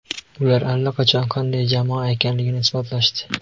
Ular allaqachon qanday jamoa ekanliklarini isbotlashdi.